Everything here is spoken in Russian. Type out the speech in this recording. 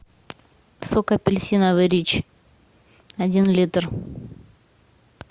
сок апельсиновый рич один литр